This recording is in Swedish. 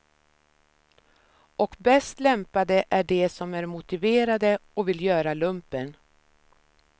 Och bäst lämpade är de som är motiverade och vill göra lumpen.